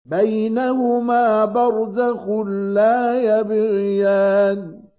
بَيْنَهُمَا بَرْزَخٌ لَّا يَبْغِيَانِ